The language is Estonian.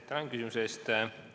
Tänan küsimuse eest!